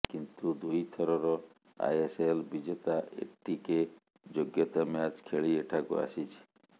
କିନ୍ତୁ ଦୁଇଥରର ଆଇଏସ୍ଏଲ୍ ବିଜେତା ଏଟିକେ ଯୋଗ୍ୟତା ମ୍ୟାଚ୍ ଖେଳି ଏଠାକୁ ଆସିଛି